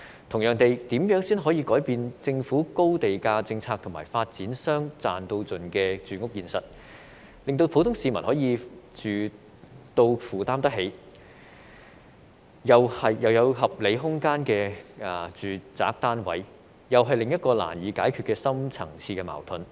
同樣地，如何才可以改變政府的高地價政策和發展商"賺到盡"的住屋現實，令普通市民能居住在可負擔，並有合理空間的住宅單位，這又是另一個難以解決的深層次矛盾。